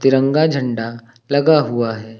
तिरंगा झंडा लगा हुआ है।